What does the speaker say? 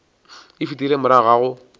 e fetile morago ga go